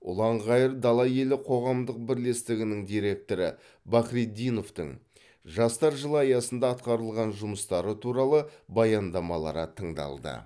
ұланғайыр дала елі қоғамдық бірлестігінің директоры бахретдиновтың жастар жылы аясында атқарылған жұмыстары туралы баяндамалары тыңдалды